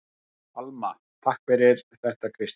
Alma: Takk fyrir þetta Kristín.